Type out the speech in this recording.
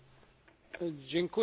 Panie przewodniczący!